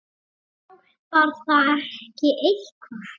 Hjálpar það ekki eitthvað?